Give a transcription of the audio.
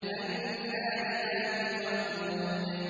النَّارِ ذَاتِ الْوَقُودِ